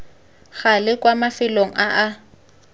gale kwa mafelong a a